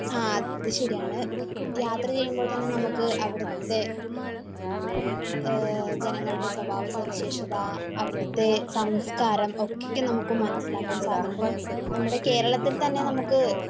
ആഹ് അത് ശരിയാണ് . യാത്ര ചെയ്യുമ്പോൾ തന്നെ നമുക്ക് അവിടുത്തെ ജനങ്ങളുടെ സ്വഭാവ സവിശേഷത , അവിടുത്തെ സംസ്കാരം ഒക്കെ നമുക്ക് മനസ്സിലാക്കാൻ സാധിക്കും. നമ്മുടെ കേരളത്തിൽതന്നെ നമുക്ക്,